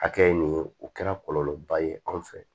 Hakɛ min ye o kɛra kɔlɔlɔba ye anw fɛ